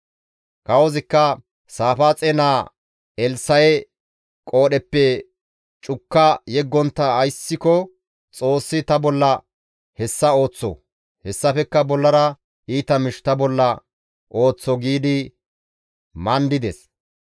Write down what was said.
Kawozikka, «Saafaaxe naa Elssa7e qoodheppe cukka yeggontta ayssiko Xoossi ta bolla hessa ooththo; hessafekka bollara iita miish ta bolla ooththo» giidi mandides.